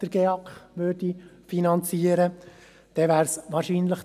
Dann wäre es wahrscheinlich …